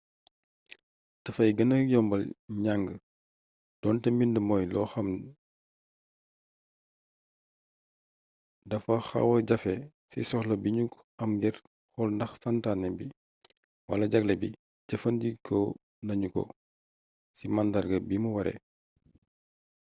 dafay gëna yombal njàng doonte mbind mooy loo xam dafa xawa jafe ci soxla bi nu am ngir xool nax santaane bi wala jagle bi jëfandikoo nañu ko ci màndarga bi mu waree